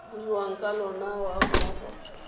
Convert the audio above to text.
buiwang ka lona ga mmogo